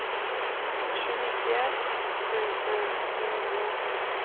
tjugonio tusen åttionio